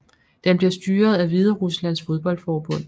Den bliver styret af Hvideruslands fodboldforbund